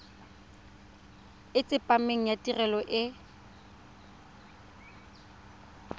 e tsepameng ya tirelo e